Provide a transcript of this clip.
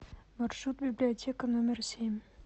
маршрут библиотека номер семь